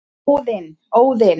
Óðinn